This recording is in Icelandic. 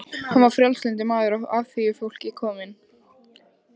Hann var frjálslyndur maður af alþýðufólki kominn.